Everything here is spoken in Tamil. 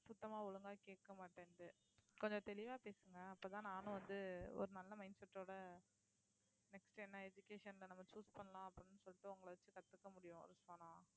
சுத்தமா ஒழுங்கா கேட்க மாட்டேன்னுது கொஞ்சம் தெளிவா பேசுங்க அப்பதான் நானும் வந்து ஒரு நல்ல mindset டோட next என்ன education ல நம்ம choose பண்ணலாம் அப்படின்னு சொல்லிட்டு உங்களை வச்சு கத்துக்க முடியும்